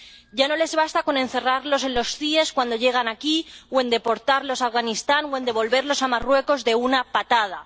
Ya no les basta con encerrarlos en los CIE cuando llegan aquí, o en deportarlos a Afganistán, o en devolverlos a Marruecos de una patada.